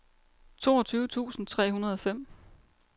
toogtyve tusind tre hundrede og fem